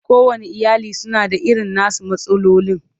Kowanne iyali suna da irin nasu matsalolin.